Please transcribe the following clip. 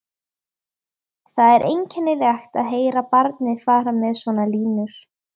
Það er einkennilegt að heyra barnið fara með svona línur